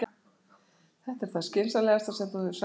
Þetta er það skynsamlegasta sem þú hefur sagt um ævina